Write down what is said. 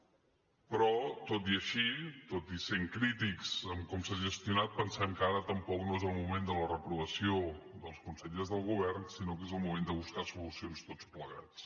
però tot i així tot i sent crítics en com s’ha gestionat pensem que ara tampoc no és el moment de la reprovació dels consellers del govern sinó que és el moment de buscar solucions tots plegats